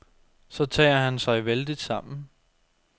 Så tager han sig vældigt sammen.